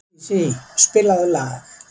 Sísí, spilaðu lag.